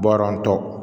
Bɔrɔntɔ